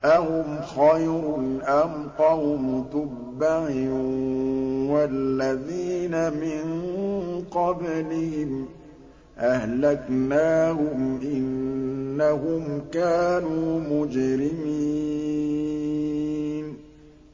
أَهُمْ خَيْرٌ أَمْ قَوْمُ تُبَّعٍ وَالَّذِينَ مِن قَبْلِهِمْ ۚ أَهْلَكْنَاهُمْ ۖ إِنَّهُمْ كَانُوا مُجْرِمِينَ